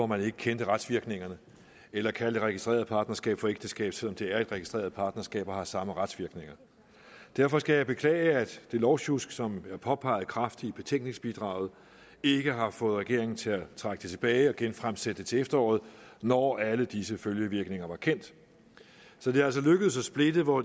man ikke kendte retsvirkningerne af eller kalde det registrerede partnerskab for ægteskab selv om det er et registreret partnerskab og har samme retsvirkninger derfor skal jeg beklage at det lovsjusk som er påpeget kraftigt i betænkningsbidraget ikke har fået regeringen til at trække forslaget tilbage og genfremsætte det til efteråret når alle disse følgevirkninger var kendt så det er altså lykkedes at splitte hvor